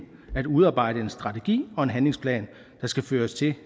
udarbejde en strategi og en handlingsplan der skal føre til